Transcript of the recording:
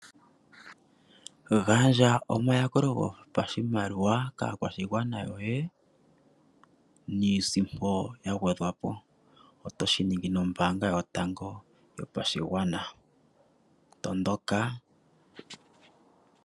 Gandja omayakulo gopashimaliwa kaakwashigwana yoye niisimpo ya gwedhwa po. Oto shi ningi nombaanga yotango yopashigwana, tondoka.